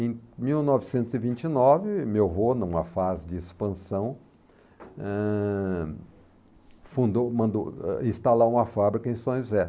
Em mil novecentos e vinte e nove, meu avô, numa fase de expansão, ãh... fundou mandou eh instalar uma fábrica em São José.